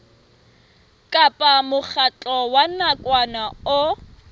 kapa mokgatlo wa nakwana o